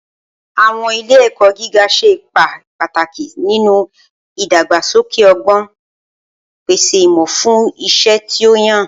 Awọn ile-ẹkọ giga ṣe ipa pataki ninu idagbasoke ọgbọn, pese imọ fun iṣẹ ti o yan.